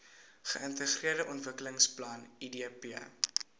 geintegreerde ontwikkelingsplan idp